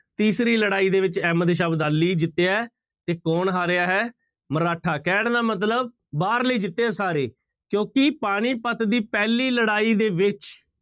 ਤੀਸਰੀ ਲੜਾਈ ਦੇ ਵਿੱਚ ਅਹਿਮਦ ਸ਼ਾਹ ਅਬਦਾਲੀ ਜਿੱਤਿਆ ਹੈ ਤੇ ਕੌਣ ਹਾਰਿਆ ਹੈ ਮਰਾਠਾ, ਕਹਿਣ ਦਾ ਮਤਲਬ ਬਾਹਰਲੇ ਹੀ ਜਿੱਤੇ ਹੈ ਸਾਰੇ ਕਿਉੁਂਕਿ ਪਾਣੀਪੱਤ ਦੀ ਪਹਿਲੀ ਲੜਾਈ ਦੇ ਵਿੱਚ